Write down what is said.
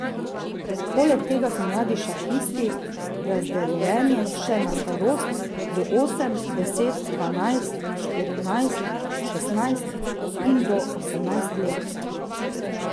Poleg tega so mladi šahisti razdeljeni še na starost, do osem, deset, dvanajst, štirinajst, šestnajst in do osemnajst let.